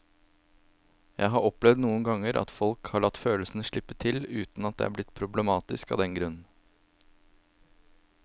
Jeg har opplevd noen ganger at folk har latt følelsene slippe til uten at det er blitt problematisk av den grunn.